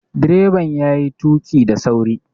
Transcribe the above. Direban yayi tuƙi da sauri